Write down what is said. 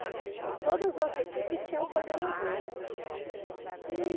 Então, todas as equipes tinham coordenador, né? E